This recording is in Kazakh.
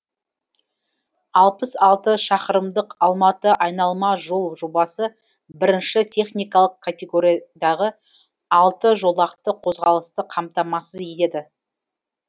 алпыс алты шақырымдық алматы айналма жол жобасы бірінші техникалық категориядағы алты жолақты қозғалысты қамтамасыз етеді